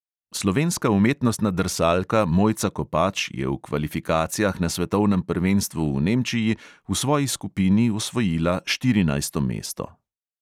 Slovenska umetnostna drsalka mojca kopač je v kvalifikacijah na svetovnem prvenstvu v nemčiji v svoji skupini osvojila štirinajsto mesto.